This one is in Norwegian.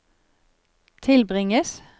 tilbringes